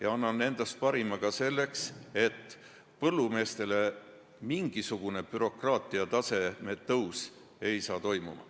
Ja ma annan endast parima ka selleks, et põllumeestele mingit bürokraatiat juurde ei tuleks.